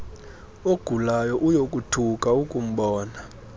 ogulayo uyothuka akumbona